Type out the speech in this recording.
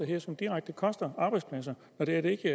her som direkte koster arbejdspladser når det